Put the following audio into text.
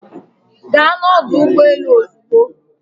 Gaa n'ọdụ ụgbọ elu ozugbo.